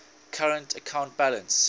current account balance